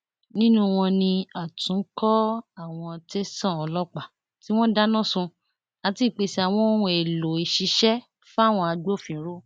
nínú wọn ni àtúnkọ àwọn tẹsán ọlọpàá tí wọn dáná sun àti ìpèsè àwọn ohun èèlò ìṣiṣẹ fáwọn agbófinró